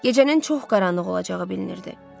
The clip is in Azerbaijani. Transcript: Gecənin çox qaranlıq olacağı bilinirdi.